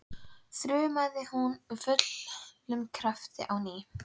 þrumaði hún af fullum krafti á ný.